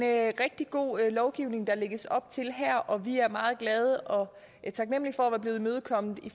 rigtig god lovgivning der lægges op til her og vi er meget glade og taknemlige for at være blevet imødekommet i